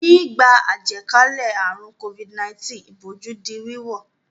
Nígbà àjàkálẹ̀ àrùn Covid-19 ìbòjú di wíwọ̀.